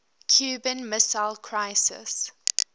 cuban missile crisis